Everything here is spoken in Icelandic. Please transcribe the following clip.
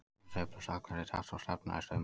Þær sveiflast allar í takt og stefna í sömu átt.